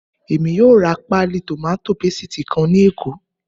Èmi yóò ra páálí tòmátò pésìtì kan ní Èkó